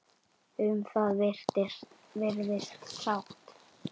Um það virðist sátt.